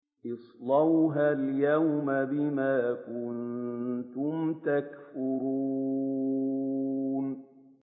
اصْلَوْهَا الْيَوْمَ بِمَا كُنتُمْ تَكْفُرُونَ